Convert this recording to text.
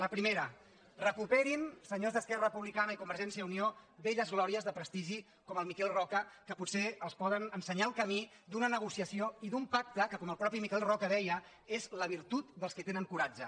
el primer recuperin se·nyors d’esquerra republicana i convergència i unió velles glòries de prestigi com el miquel roca que potser els poden ensenyar el camí d’una negociació i d’un pacte que com el mateix miquel roca deia és la virtut dels que tenen coratge